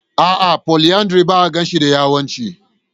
A'a, polyandry ba a gane shi da yawancin.